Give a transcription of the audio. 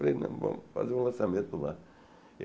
Falei não, vamos fazer um lançamento lá.